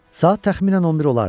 Saat təxminən 11 olardı.